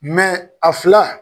Mɛ a fila